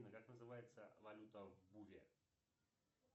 как называется валюта в буве